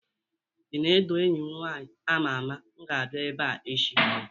ini edo enyim nwanyi ama ama m ga-abia ebea echi